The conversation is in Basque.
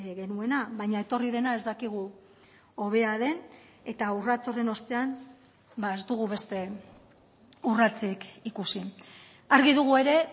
genuena baina etorri dena ez dakigu hobea den eta urrats horren ostean ez dugu beste urratsik ikusi argi dugu ere